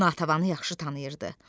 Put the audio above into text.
Natəvanı yaxşı tanıyırdı.